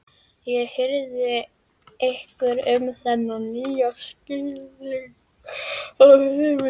Ég hirði ekki um þennan nýja skilning á lífinu.